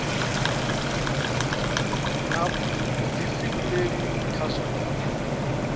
na vhuḓifhinduleli kha zwa vhupo